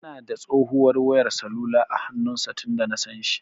Yana da tsohuwar wayar salula a hannun sa tunda nasan shi.